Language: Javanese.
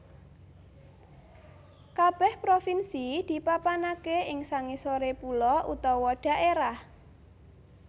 Kabèh provinsi dipapanaké ing sangisoré pulo utawa dhaérah